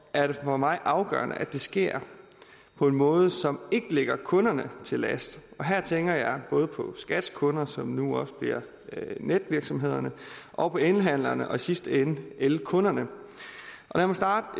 er det for mig afgørende at det sker på en måde som ikke ligger kunderne til last og her tænker jeg både på skats kunder som nu også bliver netvirksomhederne og på elhandlerne og i sidste ende elkunderne lad mig starte